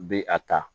Bɛ a ta